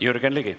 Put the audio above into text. Jürgen Ligi.